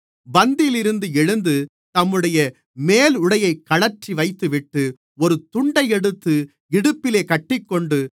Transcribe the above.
பந்தியிலிருந்து எழுந்து தம்முடைய மேலுடையைக் கழற்றி வைத்துவிட்டு ஒரு துண்டை எடுத்து இடுப்பிலே கட்டிக்கொண்டு